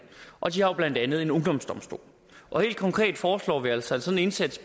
og de har jo blandt andet en ungdomsdomstol og helt konkret foreslår vi altså en indsats